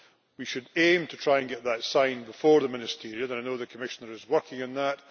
We should aim to try and get that signed before the Ministerial Conference, and I know the Commissioner is working on that.